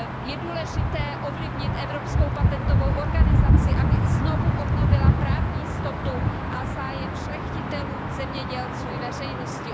Je důležité ovlivnit Evropský patentový úřad, aby znovu obnovil právní jistotu a zájem šlechtitelů, zemědělců i veřejnosti.